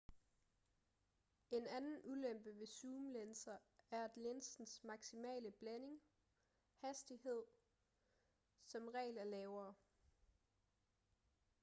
en anden ulempe ved zoomlinser er at linsens maksimale blænding hastighed som regel er lavere